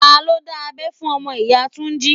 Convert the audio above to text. Ta ló dá abẹ́ fún ọmọ ìyá Túnjí?